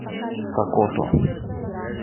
сокото